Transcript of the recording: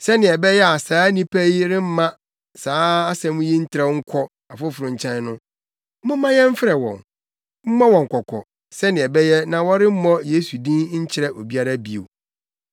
Sɛnea ɛbɛyɛ a saa nnipa yi remma saa asɛm yi ntrɛw nkɔ afoforo nkyɛn no, momma yɛmfrɛ wɔn, mmɔ wɔn kɔkɔ, sɛnea ɛbɛyɛ a wɔremmɔ Yesu din nkyerɛ obiara bio.”